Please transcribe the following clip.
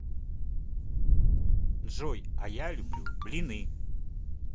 джой а я люблю блины